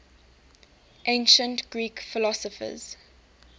ancient greek philosopher